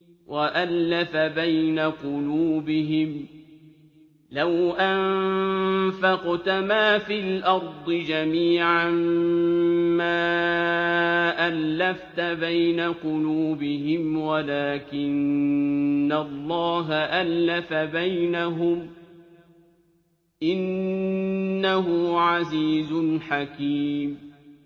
وَأَلَّفَ بَيْنَ قُلُوبِهِمْ ۚ لَوْ أَنفَقْتَ مَا فِي الْأَرْضِ جَمِيعًا مَّا أَلَّفْتَ بَيْنَ قُلُوبِهِمْ وَلَٰكِنَّ اللَّهَ أَلَّفَ بَيْنَهُمْ ۚ إِنَّهُ عَزِيزٌ حَكِيمٌ